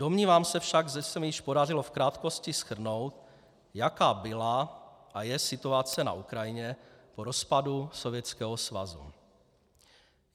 Domnívám se však, že se mi již podařilo v krátkosti shrnout, jaká byla a je situace na Ukrajině po rozpadu Sovětského svazu.